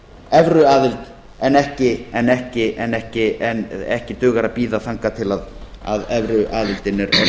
evruaðild en ekki dugar að bíða þangað til að evruaðildin er orðin að